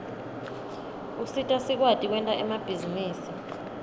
usita sikwati kwenta emabhizinisi